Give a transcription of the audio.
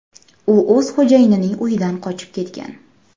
U o‘z xo‘jayinining uyidan qochib ketgan.